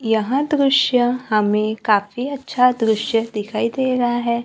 यहां दृश्य हमें काफी अच्छा दृश्य दिखाई दे रहा है।